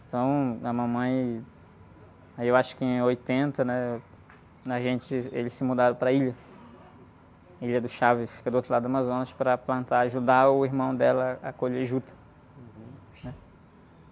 Então, a mamãe, aí eu acho que em oitenta, né? Quando a gente, eles se mudaram para a ilha, a Ilha do Chaves, que fica do outro lado do Amazonas, para plantar, ajudar o irmão dela a colher juta.